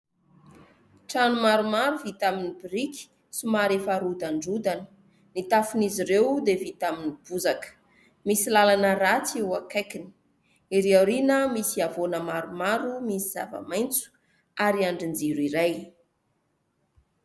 Trano maromaro vita amin'ny biriky somary efa rodandrodana. Ny tafon'izy ireo dia vita amin'ny bozaka. Misy lalana ratsy eo akaikiny. Erỳ aoriana misy havoana maromaro misy zava-maitso ary andrin-jiro iray.